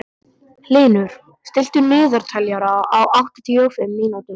Hlynur, stilltu niðurteljara á áttatíu og fimm mínútur.